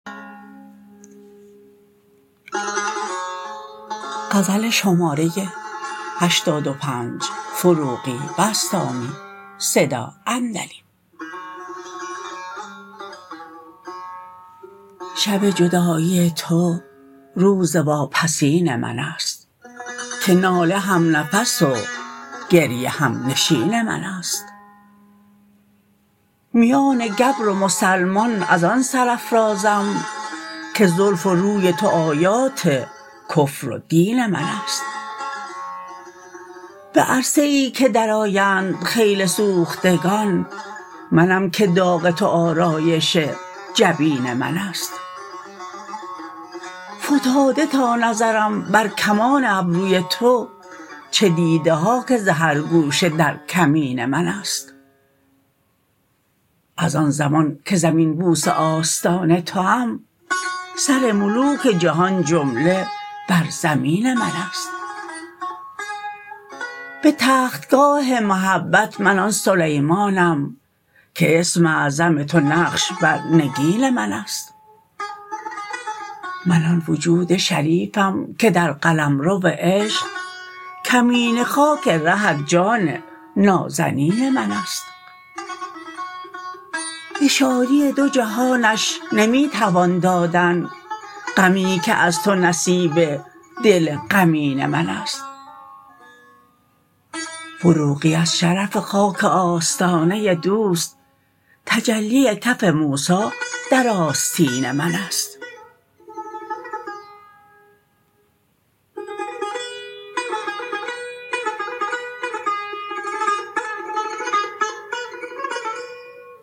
شب جدایی تو روز واپسین من است که ناله هم نفس و گریه هم نشین من است میان گبر و مسلمان از آن سرافرازم که زلف و روی تو آیات کفر و دین من است به عرصه ای که درآیند خیل سوختگان منم که داغ تو آرایش جبین من است فتاده تا نظرم بر کمان ابروی تو چه دیده ها که ز هر گوشه در کمین من است از آن زمان که زمین بوس آستان توام سر ملوک جهان جمله بر زمین من است به تختگاه محبت من آن سلیمانم که اسم اعظم تو نقش بر نگین من است من آن وجود شریفم که در قلمرو عشق کمینه خاک رهت جان نازنین من است به شادی دو جهانش نمی توان دادن غمی که از تو نصیب دل غمین من است فروغی از شرف خاک آستانه دوست تجلی کف موسی در آستین من است